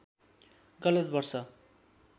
गलत वर्ष